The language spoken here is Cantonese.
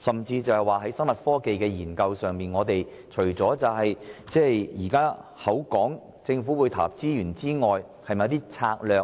至於生物科技的研究方面，政府除了投入資源外，是否會推行一些相關策略？